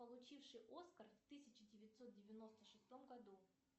получивший оскар в тысяча девятьсот девяносто шестом году